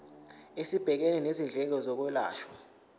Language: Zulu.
esibhekene nezindleko zokwelashwa